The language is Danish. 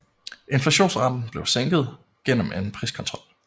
Inflationsraten blev sænket gennem en priskontrol